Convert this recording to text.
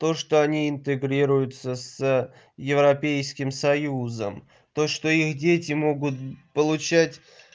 то что они интегрируются с европейским союзом то что их дети могут получать